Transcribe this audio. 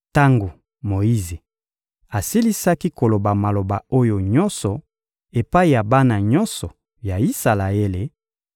Tango Moyize asilisaki koloba maloba oyo nyonso epai ya bana nyonso ya Isalaele,